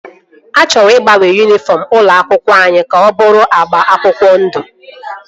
A chọrọ ịgbanwe yunifọm ụlọ akwụkwọ anyị ka ọ bụrụ agba akwụkwọ ndụ